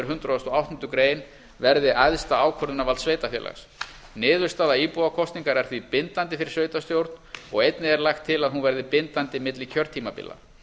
hundrað og áttundu grein verði æðsta ákvörðunarvald sveitarfélags niðurstaða íbúakosningar er því bindandi fyrir sveitarstjórn og einnig er lagt til að hún verði bindandi milli kjörtímabila